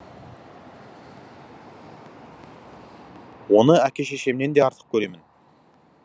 оны әке шешемнен де артық көремін